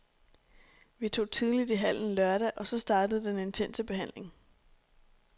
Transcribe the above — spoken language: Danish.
Vi tog tidligt i hallen lørdag og så startede den intense behandling.